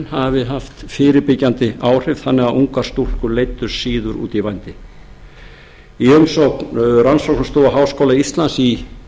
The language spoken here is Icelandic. hafi haft fyrirbyggjandi áhrif þannig að ungar stúlkur leiddust síður út í vændi í umsögn rannsóknastofu háskóla íslands í